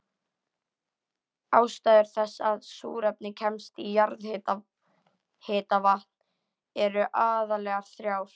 Ástæður þess að súrefni kemst í jarðhitavatn eru aðallega þrjár.